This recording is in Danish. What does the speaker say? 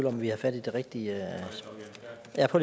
om vi har fat i det rigtige